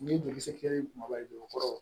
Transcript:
Ni joli se kɛ maaba ye jukɔrɔ